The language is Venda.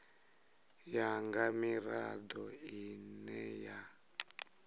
ya nga mirado ine ya